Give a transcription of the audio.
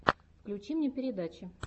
включи мне передачи